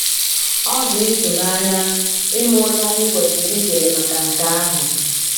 Ọ dị ịtụnanya ịma onye anyị kwesịrị ịkele maka nke ahụ.